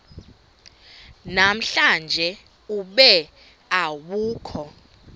namhlanje ube awukho